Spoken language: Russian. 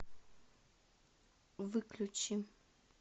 выключи